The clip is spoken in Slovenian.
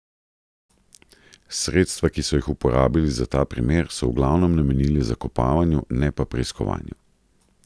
Sredstva, ki so jih uporabili za ta primer, so v glavnem namenili zakopavanju, ne pa preiskovanju.